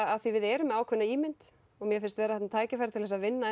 af því við erum með ákveðna ímynd mér finnst vera þarna tækifæri til að vinna